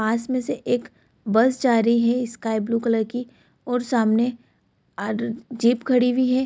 पास में से एक बस जा रही है स्काई ब्लू कलर की और सामने अडर जीप खड़ी हुई है।